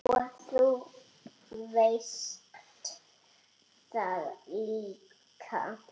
Og þú veist það líka.